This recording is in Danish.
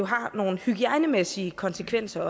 har nogle hygiejnemæssige konsekvenser